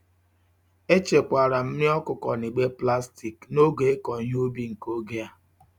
Echekwara m nri okuko nigbe plastic n'oge iko ihe ubi nke oge a.